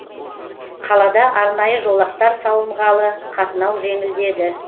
қалада арнайы жолақтар салынғалы қатынау жеңілдеді